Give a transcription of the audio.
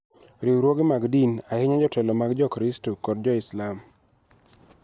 riwruoge mag din, ahinya jotelo mag Jokristo kod Jo-Muslim,